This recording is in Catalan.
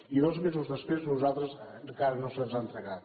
i dos mesos després a nosaltres encara no se’ns han entregat